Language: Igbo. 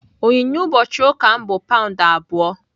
Onyinye ụbọchị ụka m bụ paụnd abụọ.